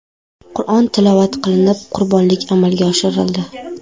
Qur’on tilovat qilinib, qurbonlik amalga oshirildi.